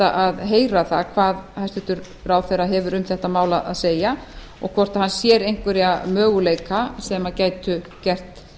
að heyra það hvað hæstvirtur ráðherra hefur um þetta mál að segja og hvort hann sér einhverja möguleika sem gætu gert